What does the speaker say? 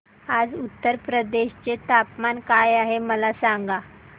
आज उत्तर प्रदेश चे तापमान काय आहे मला सांगा